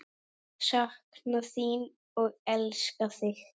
Sakna þín og elska þig.